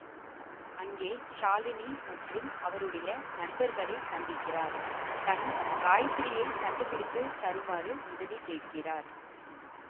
அங்கே ஷாலினி மற்றும் அவருடைய நண்பர்களை சந்திக்கிறார் தன் காயத்திரியை கண்டிபிடித்து தருமாறு உதவி கேட்கிறார்